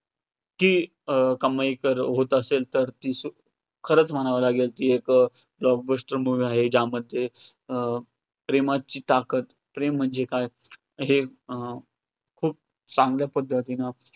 की अं क~ कमाई कर~ होत असेल तर, ती खरंच म्हणावी लागेल ती एक block bluster movie आहे, जामच आहे. अं प्रेमाची ताकद, प्रेम म्हणजे काय? हे खूप चांगल्या पद्धतीने